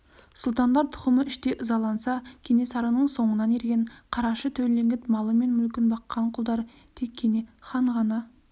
сұлтандар тұқымы іштей ызаланса кенесарының соңынан ерген қарашы төлеңгіт малы мен мүлкін баққан құлдар тек кене хан ғана